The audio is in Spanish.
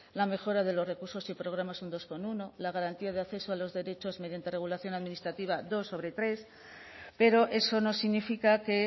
la mejora de los recursos y programas un dos coma uno la garantía de acceso a los derechos mediante regulación administrativa dos sobre tres pero eso no significa que